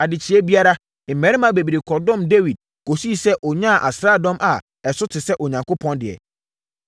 Adekyeeɛ biara, mmarima bebree kɔdɔm Dawid kɔsii sɛ ɔnyaa asraadɔm a ɛso te sɛ Onyankopɔn deɛ.